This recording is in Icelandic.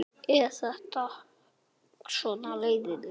Breki Logason: Hvað finnst þér?